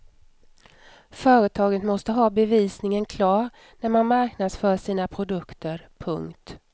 Företaget måste ha bevisningen klar när man marknadsför sina produkter. punkt